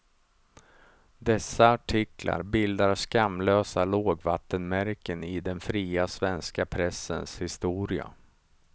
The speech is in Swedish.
Dessa artiklar bildar skamlösa lågvattenmärken i den fria svenska pressens historia.